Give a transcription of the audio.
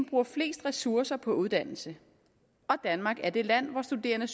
bruger flest ressourcer på uddannelse og danmark er det land hvor studerende